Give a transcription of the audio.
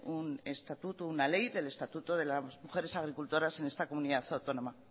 un estatuto una ley del estatuto de las mujeres agricultoras en esta comunidad autónoma